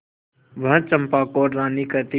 वह चंपा को रानी कहती